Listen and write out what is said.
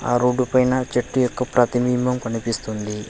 ఆ రోడ్డుపైన చెట్టు యొక్క ప్రతిబింబం కనిపిస్తుంది.